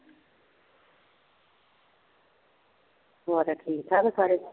ਤੁਹਾਡੇ ਠੀਕ ਠਾਕ ਆ ਸਾਰੇ